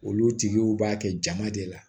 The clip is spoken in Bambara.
Olu tigiw b'a kɛ jama de la